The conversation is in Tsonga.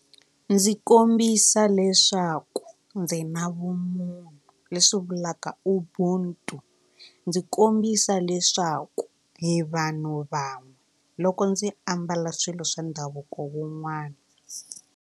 Ndzi kombisa leswaku ndzi na vumunhu leswi vulaka ubuntu ndzi kombisa leswaku hi vanhu van'we loko ndzi ambala swilo swa ndhavuko wun'wana.